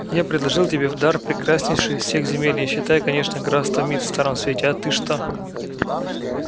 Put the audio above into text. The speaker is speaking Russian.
я предложил тебе в дар прекраснейшую из всех земель не считая конечно графства мит в старом свете а ты что